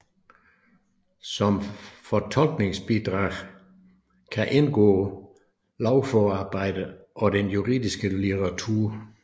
Som fortolkningsbidrag kan indgå lovforarbejder og den juridiske litteratur